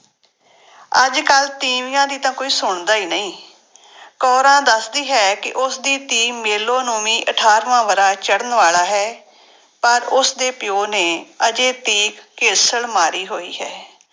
ਅੱਜ ਕੱਲ੍ਹ ਤੀਵੀਆਂ ਦੀ ਤਾਂ ਕੋਈ ਸੁਣਦਾ ਹੀ ਨਹੀਂ ਕੋਰਾਂ ਦੱਸਦੀ ਹੈ ਕਿ ਉਸਦੀ ਧੀ ਮੇਲੋ ਨੂੰ ਵੀ ਅਠਾਰਵਾਂ ਵਰ੍ਹਾ ਚੜ੍ਹਨ ਵਾਲਾ ਹੈ ਪਰ ਉਸਦੇ ਪਿਓ ਨੇ ਹਜੇ ਤੀਕ ਘੇਸਲ ਮਾਰੀ ਹੋਈ ਹੈ।